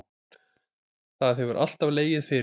Það hefur alltaf legið fyrir